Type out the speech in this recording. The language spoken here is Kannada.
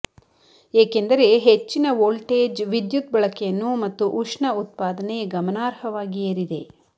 ಏಕೆಂದರೆ ಹೆಚ್ಚಿನ ವೋಲ್ಟೇಜ್ ವಿದ್ಯುತ್ ಬಳಕೆಯನ್ನು ಮತ್ತು ಉಷ್ಣ ಉತ್ಪಾದನೆ ಗಮನಾರ್ಹವಾಗಿ ಏರಿದೆ